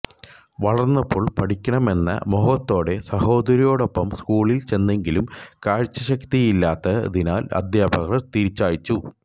വളർന്നപ്പോൾ പഠിക്കണമെന്ന മോഹത്തോടെ സഹോദരിയോടൊപ്പം സ്കൂളിൽ ചെന്നെങ്കിലും കാഴ്ചശക്തിയില്ലാത്തതിനാൽ അദ്ധ്യാപകർ തിരിച്ചയച്ചു